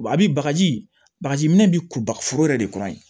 Ba bi bagaji bagaji minɛ bi ku baga foro yɛrɛ de kɔnɔ ye